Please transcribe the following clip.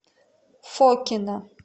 фокино